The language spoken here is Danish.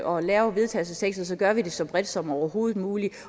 og laver vedtagelsestekster gør vi det så bredt som overhovedet muligt